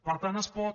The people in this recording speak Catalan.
per tant es pot